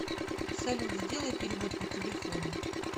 салют сделай перевод по телефону